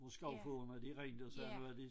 Hvor skovfogederne de ringede og sagde nu er de